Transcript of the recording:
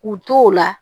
K'u to o la